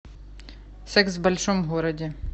секс в большом городе